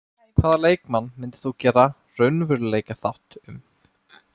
Hvaða leikmann myndir þú gera raunveruleikaþátt um?